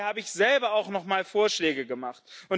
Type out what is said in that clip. Daher habe ich selber auch noch mal Vorschläge gemacht.